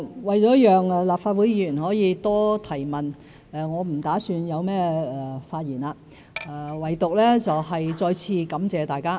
為了讓立法會議員可以多提問，我不打算作發言，唯獨是再次感謝大家。